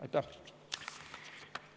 Aitäh!